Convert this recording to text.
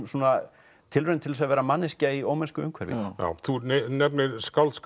tilraun til að vera manneskja í ómennsku umhverfi þú nefnir skáldskap